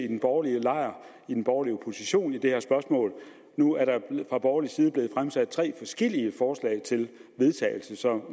i den borgerlige lejr i den borgerlige opposition i det her spørgsmål nu er der fra borgerlig side blevet fremsat tre forskellige forslag til vedtagelse så